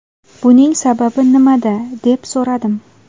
Buning sababi nimada?” deb so‘radim.